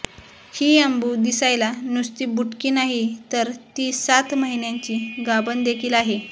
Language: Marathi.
ही अंबू दिसायला नुसती बुटकी नाही तर ती सात महिन्यांची गाभण देखील आहे